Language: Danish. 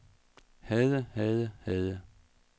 havde havde havde